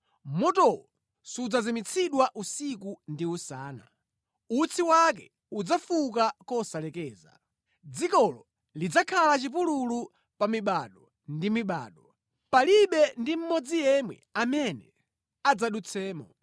Motowo sudzazimitsidwa usiku ndi usana; utsi wake udzafuka kosalekeza. Dzikolo lidzakhala chipululu pa mibado ndi mibado; palibe ndi mmodzi yemwe amene adzadutsemo.